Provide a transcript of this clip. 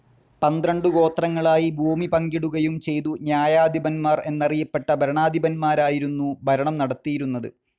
പന്ത്രണ്ടു ഗോത്രങ്ങളായി ഭൂമി പങ്കിടുകയും ചെയ്തു ന്യായാധിപന്മാർ എന്നറിയപ്പെട്ട ഭരണാധിപന്മാരായിരുന്നു ഭരണം നടത്തിയിരുന്നത്.